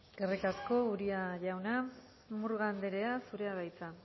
eskerrik asko uria jauna murga andrea zurea da hitza